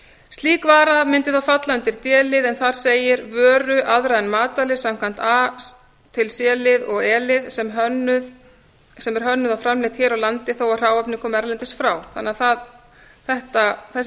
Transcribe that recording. slík vara mundi þá falla undir d lið en þar segir vöru aðra en matvæli samkvæmt a til c lið og e lið sem er hönnuð og framleidd hér á landi þó að hráefni komi erlendis frá þessi